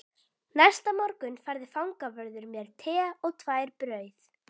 Næsta morgun færði fangavörður mér te og tvær brauð